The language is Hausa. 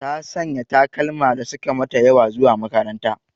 Ta Sanya takalma da suka mata ƴawa zuwa makaranta.